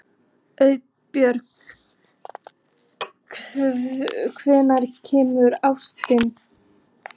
Auðbjörg, hvenær kemur ásinn?